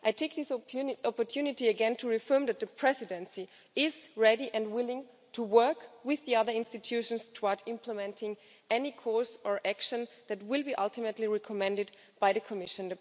I take this opportunity again to reaffirm that the Presidency is ready and willing to work with the other institutions towards implementing any course or action that will be ultimately recommended by the Commission.